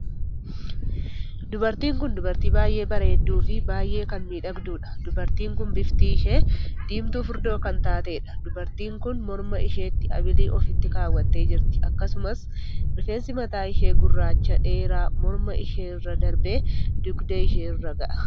Dubartiin kun dubartii baay'ee bareedduu fi baay'ee kan miidhagduudha. Dubartiin kun bifti ishee diimtuu furdoo kan taateedha. dubartiin kun mormaa isheetti abilii ofiitti kaawwattee jirti. akkasumas rifeensi mataa ishee gurraachaa dheeraa morma ishee irra darbee dugda ishee irra gaha.